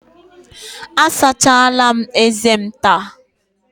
Asachala m eze m taa.